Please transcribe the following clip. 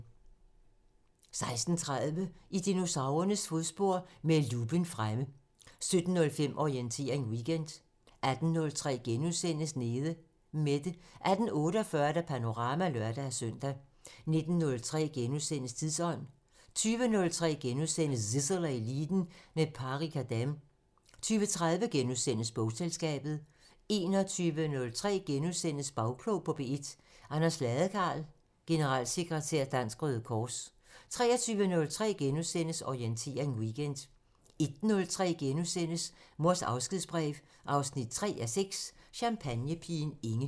16:30: I dinosaurernes fodspor – med luppen fremme 17:05: Orientering Weekend 18:03: Nede Mette * 18:48: Panorama (lør-søn) 19:03: Tidsånd * 20:03: Zissel og Eliten: Med Pari Khadem * 20:30: Bogselskabet * 21:03: Bagklog på P1: Anders Ladekarl, generalsekretær Dansk Røde Kors * 23:03: Orientering Weekend * 01:03: Mors afskedsbrev 3:6 – Champagnepigen Inge *